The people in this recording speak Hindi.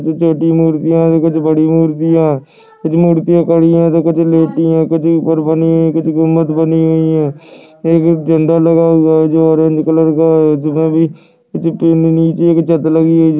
छोटी मूर्तियाँ है तो कुछ बड़ी मूर्तियाँ कुछ मूर्तियाँ खड़ी है तो कुछ लेटी है कुछ ऊपर बनी हुई है कुछ गुम्बंद बनी हुई है एक एक झंडा लगा हुआ है जो ऑरेंज कलर का है छत्त लगी है।